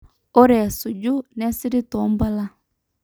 ore esuju neisirri toompala